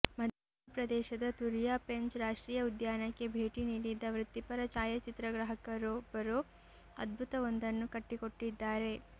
ಮಧ್ಯಪ್ರದೇಶದ ತುರಿಯಾ ಪೆಂಚ್ ರಾಷ್ಟ್ರೀಯ ಉದ್ಯಾನಕ್ಕೆ ಭೇಟಿ ನೀಡಿದ್ದ ವೃತ್ತಿಪರ ಛಾಯಾಚಿತ್ರಗ್ರಾಹಕರೊಬ್ಬರು ಅದ್ಭುತವೊಂದನ್ನು ಕಟ್ಟಿಕೊಟ್ಟಿದ್ದಾರೆ